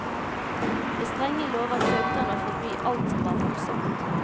Med strenge lover søkte han å forby alt som var morsomt.